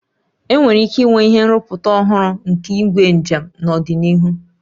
Enwere ike inwe ihe nrụpụta ọhụrụ nke igwe njem n'ọdịnihu